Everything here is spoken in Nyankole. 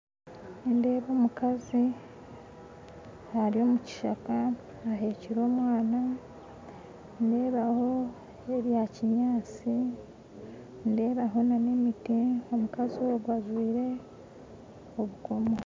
Nindeeba omukazi ari omukishaka ahekyire omwana nindebaho ebyakinyaatsi nindebaho n'emiti omukazi ogwe ajwaire ebikomo